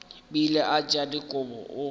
bile a tšea dikobo o